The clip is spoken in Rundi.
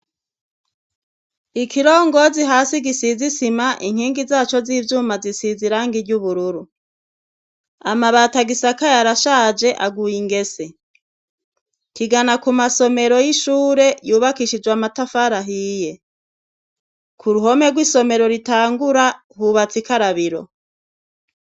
ikirongozi hasi gisizisima inkingi zaco z'ibyuma zisize irangi ry'ubururu amabati agisakaye arashaje aguye ingese kigana ku masomero y'ishure yubakishijwe amatafari ahiye ku ruhome rw'isomero ritangura hubatse ikarabiro